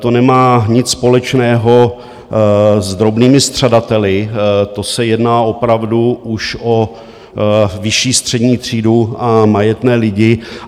To nemá nic společného s drobnými střadateli, to se jedná opravdu už o vyšší střední třídu a majetné lidi.